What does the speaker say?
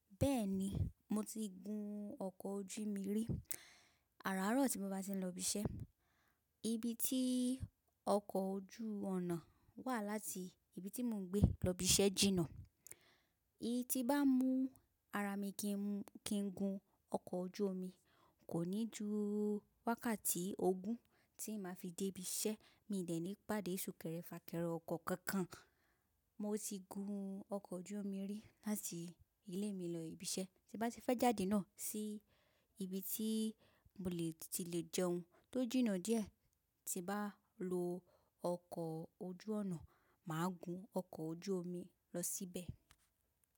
Bẹ́ẹ̀ni, mo ti gun ọkọ̀ ojú omi rí Àáràárọ̀ tí mo bá ti ń lọ síbi iṣẹ́. Ibi tí ọkọ̀ ojú ọ̀nà wà láti ibi tí mò ń gbé lọ ibi iṣẹ́ jìnnà. Tí mo bá mú ara mi kí n gùn ọkọ̀ ojú omi, kò ní ju wákàtí ogún tí máa fi dé ibi iṣẹ́, mi ò dé ní pàdé sùnkẹ́rẹ́ fáàkẹ́rẹ̀ ọkọ̀ kankan. Mo ti gùn ọkọ̀ ojú omi rí láti ilé mi lọ síbi iṣẹ́, tí ń bá ti dé jáde náà sí ibi tí mo ti lè jẹun tó jìnnà díẹ̀ tí ń bá ń lo ọkọ̀ ojú ọ̀nà, máa gùn ọkọ̀ ojú omi lọ síbẹ̀.